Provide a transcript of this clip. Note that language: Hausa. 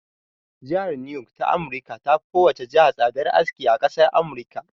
Jihar niyok ta amurika ta fi kowane jiha tsadan aski a ƙasar amurika